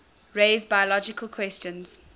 raise biological questions